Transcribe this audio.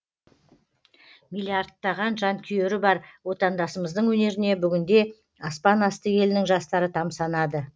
миллиардтаған жанкүйері бар отандасымыздың өнеріне бүгінде аспан асты елінің жастары тамсанады